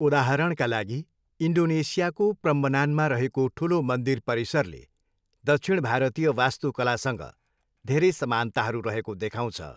उदाहरणका लागि, इन्डोनेसियाको प्रम्बनानमा रहेको ठुलो मन्दिर परिसरले दक्षिण भारतीय वास्तुकलासँग धेरै समानताहरू रहेको देखाउँछ।